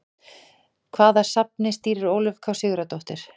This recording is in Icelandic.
Hvaða safni stýrir Ólöf K Sigurðardóttir?